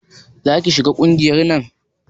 Za ki shiga ƙungiyar nan?